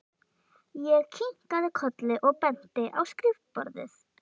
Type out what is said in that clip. Ég kinkaði kolli og benti á skrifborðið.